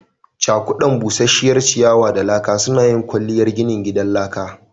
Cakuda busasshiyar ciyawa da laka suna yin kwalliyar ginin gidan laka